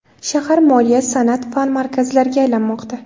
Shahar moliya, san’at, fan markazlariga aylanmoqda.